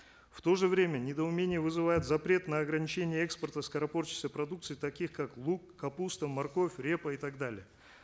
в то же время недоумение вызывает запрет на ограничение экспорта скоропортящейся продукции таких как лук капуста морковь репа и так далее